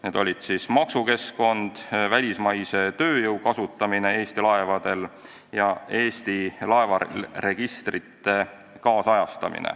Need olid maksukeskkond, välismaise tööjõu kasutamine Eesti laevadel ja vajadus Eesti laevaregistreid kaasajastada.